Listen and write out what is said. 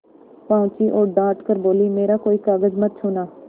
पहुँची और डॉँट कर बोलीमेरा कोई कागज मत छूना